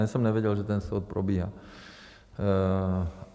Ani jsem nevěděl, že ten soud probíhá.